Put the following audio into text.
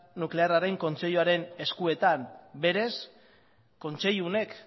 nuklearren kontseiluaren eskuetan beraz kontseilu honek